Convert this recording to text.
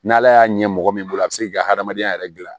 N'ala y'a ɲɛ mɔgɔ min bolo a bɛ se k'i ka hadamadenya yɛrɛ dilan